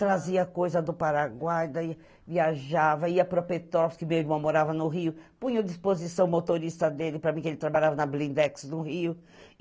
Trazia coisa do Paraguai, viajava, ia para Petrópolis, que meu irmão morava no Rio, punha a disposição motorista dele para mim, que ele trabalhava na Blindex no Rio.